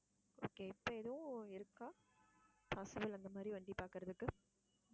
okay இப்ப எதுவும் இருக்கா அந்த மாதிரி வண்டி பாக்குறதுக்கு.